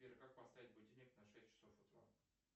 сбер как поставить будильник на шесть часов утра